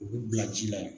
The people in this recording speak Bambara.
U bɛ bila ji la